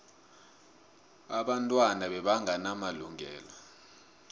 abantwana bebangena malungelo